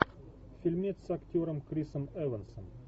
фильмец с актером крисом эвансом